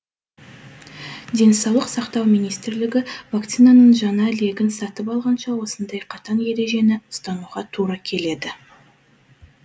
денсаулық сақтау министрлігі вакцинаның жаңа легін сатып алғанша осындай қатаң ережені ұстануға тура келеді